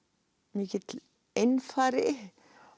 mikill einfari